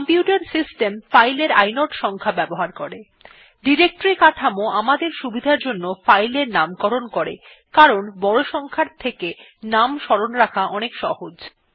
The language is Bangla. কম্পিউটার সিস্টেম ফাইল এর ইনোড সংখ্যা ব্যবহার করে ডিরেক্টরী কাঠামো আমাদের সুবিধার জন্য ফাইল এর নামকরণ করে কারণ বড় সংখ্যার চেয়ে নাম স্মরণ রাখা অনেক সহজ